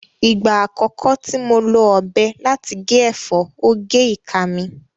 Ìgbà àkọ́kọ́ tí mo lo ọ̀bẹ láti gé ẹ̀fọ́, ó gé ìka mi